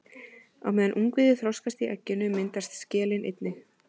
Á meðan ungviðið þroskast í egginu myndast skelin einnig.